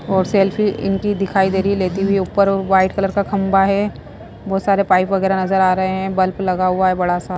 और सेल्फी इनकी दिखाई दे रही है लेती हुई ऊपर वाइट कलर का खंबा है बहुत सारे पाइप वगैरह नजर आ रहे हैंबल्ब लगा हुआ है बड़ा सा।